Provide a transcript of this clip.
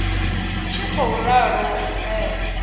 tshi khou ralo u bvela